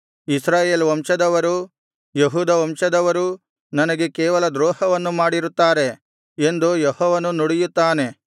ಇಸ್ರಾಯೇಲ್ ವಂಶದವರೂ ಯೆಹೂದ ವಂಶದವರೂ ನನಗೆ ಕೇವಲ ದ್ರೋಹವನ್ನು ಮಾಡಿರುತ್ತಾರೆ ಎಂದು ಯೆಹೋವನು ನುಡಿಯುತ್ತಾನೆ